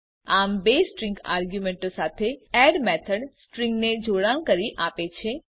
આમ બે સ્ટ્રીંગ આર્ગ્યુંમેંટો સાથે એડ મેથડ સ્ટ્રીંગને જોડાણ કરી આપે છે